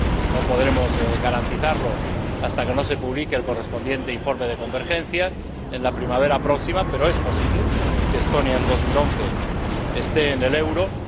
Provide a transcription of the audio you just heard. No podremos garantizarlo hasta que no se publique el correspondiente informe de convergencia en la primavera próxima, pero es posible que Estonia esté en la zona del euro en